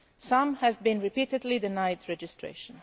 Some have been repeatedly denied registration.